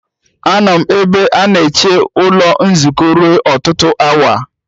Anọ m ebe a na-eche ụlọ nzukọ ruo ọtụtụ awa.